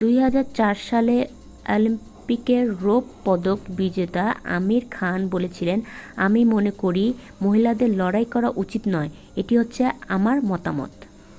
"2004 সালের অলিম্পিকের রৌপ্য পদক বিজেতা আমির খান বলেছিলেন "আমি মনেকরি মহিলাদের লড়াই করা উচিত নয়""। "এটি হলো আমার মতামত""।